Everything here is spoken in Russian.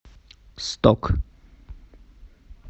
сток